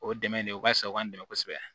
O ye dɛmɛ de ye o ka fisa u b'an dɛmɛ kosɛbɛ